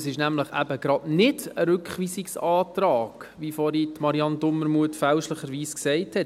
Es ist nämlich eben Rückweisungsantrag, wie Marianne Dumermuth vorhin fälschlicherweise gesagt hat.